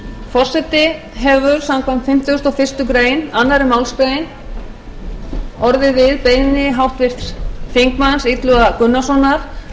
forseti hefur samkvæmt annarri málsgrein fimmtugustu og fyrstu grein orðið við beiðni háttvirtur þingmaður illuga gunnarssonar um að